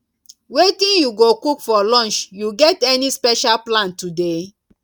wetin you go cook for lunch you get any special plan today